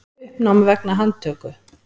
Uppnám vegna handtöku